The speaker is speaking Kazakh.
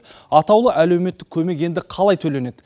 атаулы әлеуметтік көмек енді қалай төленеді